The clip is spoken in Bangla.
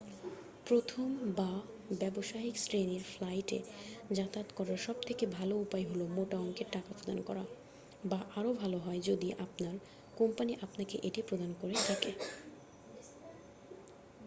প্রথম বা ব্যবসায়িক শ্রেণির ফ্লাইটে যাতায়াত করার সবথেকে ভালো উপায় হলো মোটা অংকের টাকা প্রদান করা বা আরও ভাল হয় যদি আপনার কোম্পানি আপনাকে এটি প্রদান করে থাকে।